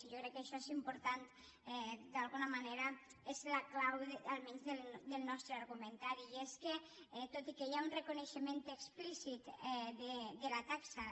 i jo crec que això és important d’alguna manera és la clau almenys del nostre argumentari i és que tot i que hi ha un reconeixement explícit de la taxa